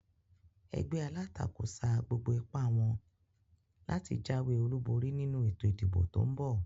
Egbé alátakò sa gbogbo ipá wón láti jáwé olúborí nínu ètò ìdìbò tón bò